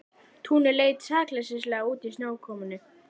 Túnið leit sakleysislega út í snjókomunni.